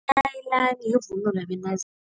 Yivunulo yabentazana.